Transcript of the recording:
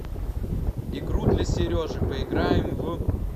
игру для сережи поиграем в